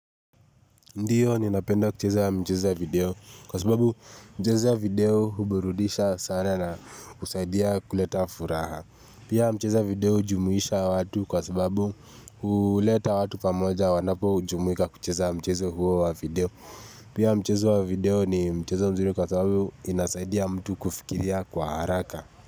Ndiyo ninapenda kucheza mchezo ya video kwa sababu mchezo ya video huburudisha sana na husaidia kuleta furaha Pia mchezo ya video hujumuisha watu kwa sababu huleta watu pamoja wanapojumuika kucheza mchezo huo wa video Pia mchezo wa video ni mchezo mzuri kwa sababu inasaidia mtu kufikiria kwa haraka.